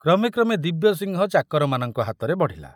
କ୍ରମେ କ୍ରମେ ଦିବ୍ୟସିଂହ ଚାକରମାନଙ୍କ ହାତରେ ବଢ଼ିଲା।